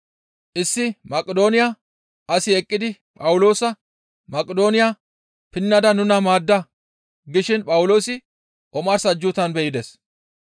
Issi Maqidooniya asi eqqidi Phawuloosa Maqidooniya pinnada nuna maadda gishin Phawuloosi omars ajjuutan be7ides.